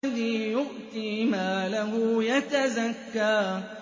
الَّذِي يُؤْتِي مَالَهُ يَتَزَكَّىٰ